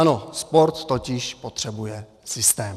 Ano, sport totiž potřebuje systém.